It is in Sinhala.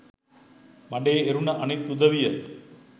මඩේ එරුණ අනිත් උදවිය